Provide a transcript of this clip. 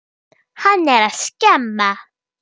Hann er að skemma.